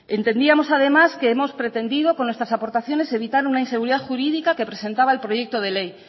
entendíamos además que hemos pretendido con nuestras aportaciones evitar una inseguridad jurídica que presentaba el proyecto de ley